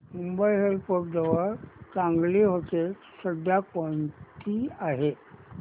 Mumbai airport जवळ चांगली हॉटेलं सध्या कोणती आहेत